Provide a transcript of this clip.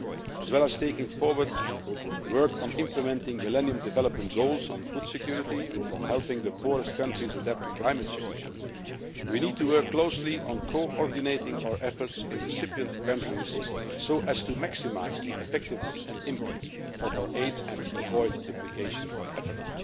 As well as working on implementing millennium development goals on food security and helping the poorest countries adapt to climate change, we need to work closely on coordinating our efforts in the recipient countries so as to maximise the effectiveness and impact of our aid and avoid duplication of effort.